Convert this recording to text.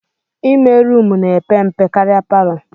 Ime rumụ na-epe mpe karịa palọ